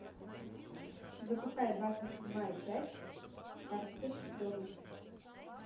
запускай двадцать седьмая часть карточный домик